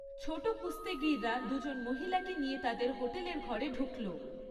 ছোট কুস্তিগীররা দুজন মহিলাকে নিয়ে তাদের হোটেলের ঘরে ঢুকল।